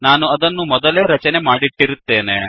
ನಾನು ಅದನ್ನು ಮೊದಲೇ ರಚನೆ ಮಾಡಿಟ್ಟಿರುತ್ತೇನೆ